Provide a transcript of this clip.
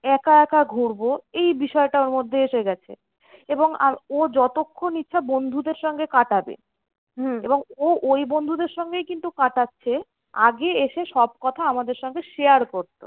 একা একা ঘুরবো এই বিষয়টা ওর মধ্যে এসে গেছে। এবং ও যতক্ষণ ইচ্ছা বন্ধুদের সঙ্গে কাটাবে এবং ও ওই বন্ধুদের সঙ্গেই কিন্তু কাটাচ্ছে। আগে এসে সব কথা আমাদের সঙ্গে share করতো।